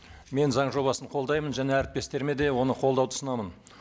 мен заң жобасын қолдаймын және әріптестеріме де оны қолдауды ұсынамын